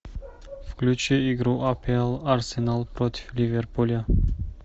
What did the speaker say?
включи игру апл арсенал против ливерпуля